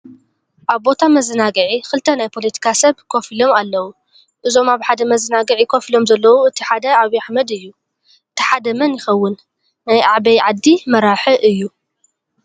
ኣብ ቦታ መዘናጊዒ ክልተ ናይ ፖለቲካ ሰብ ኮፍ ኢሎም ኣለዉ። እዞም ኣብ ሓደ መዘናጊዒ ኮፍ ኢሎም ዘለዉ እቲ ሓደ ዓብይ ኣሕመድ እዩ። እቲ ሓደ መን ይከውን ? ናይ አበይ ዓዲ መራሒ እዩ?